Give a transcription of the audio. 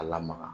A lamaga